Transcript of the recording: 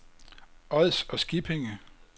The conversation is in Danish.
Ods og Skippinge